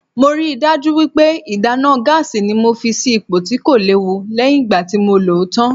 Mo ríi dájú wípé ìdáná gáásì ni mo fi sì ipò tí kò léwu lẹ́yìn ìgbà tí mo lòó tán.